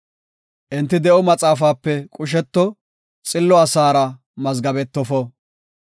Enti de7o maxaafape qusheto; xillo asaara mazgabetofo.